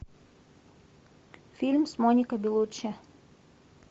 фильм с моникой беллуччи